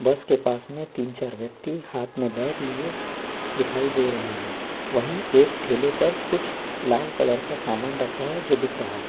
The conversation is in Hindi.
बस के पास में तीन-चार व्यक्ति हाथ में बैग लिए दिखाई दे रहे हैं वहीं एक ठेले पर कुछ लाल कलर का सामान रखा है जो दिख रहा है।